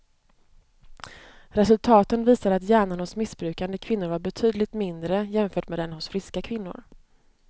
Resultaten visar att hjärnan hos missbrukande kvinnor var betydligt mindre jämfört med den hos friska kvinnor.